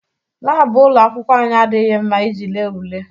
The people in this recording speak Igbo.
Laabụ ụlọ akwụkwọ anyị adịghị mma iji lee ule.